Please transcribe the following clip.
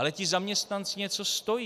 Ale ti zaměstnanci něco stojí.